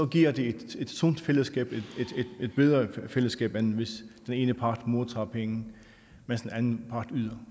giver det et sundt fællesskab et bedre fællesskab end hvis den ene part modtager penge mens den anden part yder